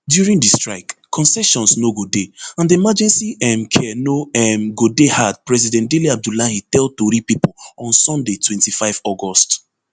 during di strike concessions no go dey and emergency um care no um go dey hard president dele abdullahi tell tori pipo on sunday twenty-five august